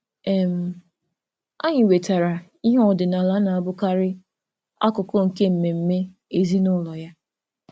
um Anyị wetara ihe ọdịnala na-abụkarị akụkụ nke mmemme ezinụlọ ya.